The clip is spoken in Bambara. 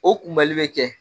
O kunbɛli bɛ kɛ